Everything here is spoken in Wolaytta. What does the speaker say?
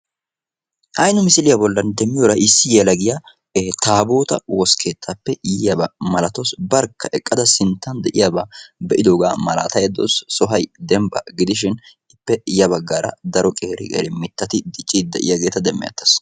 Hay nu misiliyaa bolli demmiyoora issi yelagiyaa taabootaa woskkeetappe yiyaaba malatawus. barkka eqqada sinttan de'iyaaba be'idoogaa malataydda de'awus. sohay dembba gidisin ippe ya baggaara daro qeeri qeeri mittati dicciidi de'iyageta demeettees.